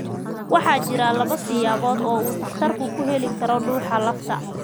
Waxaa jira laba siyaabood oo uu takhtarku ku heli karo dhuuxa lafta.